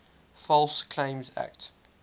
false claims act